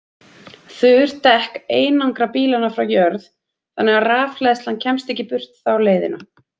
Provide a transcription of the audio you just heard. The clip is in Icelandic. Þurr dekk einangra bílana frá jörð þannig að rafhleðslan kemst ekki burt þá leiðina.